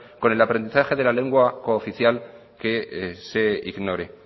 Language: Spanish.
con el aprendizaje de la lengua cooficial que se ignore